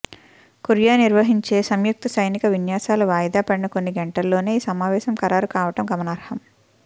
Korea నిర్వహించే సంయుక్తం సైనిక విన్యసాలు వాయిదా పడిన కొన్ని గంటల్లోనే ఈ సమావేశం ఖరారు కావడం గమనార్హం